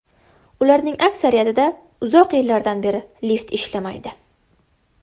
Ularning aksariyatida uzoq yillardan beri lift ishlamaydi.